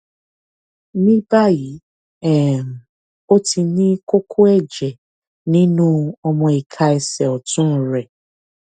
ní báyìí um ó ti ní kókó ẹjẹ nínú ọmọ ìka ẹsẹ ọtún rẹ